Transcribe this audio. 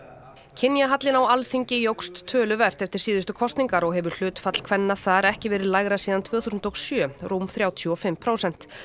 kynjahallinn á Alþingi jókst töluvert eftir síðustu kosningar og hefur hlutfall kvenna þar ekki verið lægra síðan tvö þúsund og sjö rúm þrjátíu og fimm prósent